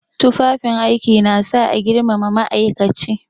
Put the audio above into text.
Tufafin aiki na sa a girmama ma'aikaci.